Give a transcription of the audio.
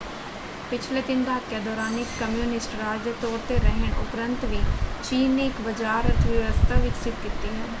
ਪਿਛਲੇ ਤਿੰਨ ਦਹਾਕਿਆ ਦੌਰਾਨ ਇਕ ਕਮਿਊਨਿਸਟ ਰਾਜ ਦੇ ਤੌਰ 'ਤੇ ਰਹਿਣ ਉਪਰੰਤ ਵੀ ਚੀਨ ਨੇ ਇਕ ਬਜ਼ਾਰ ਅਰਥ-ਵਿਵਸਥਾ ਵਿਕਸਿਤ ਕੀਤੀ ਹੈ।